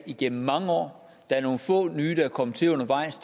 igennem mange år der er nogle få nye der er kommet til undervejs